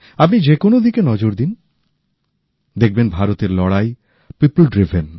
আপনি যে কোন দিকে নজর দিন দেখবেন ভারতের লড়াই জনগণের পরিচালিত উদ্যোগ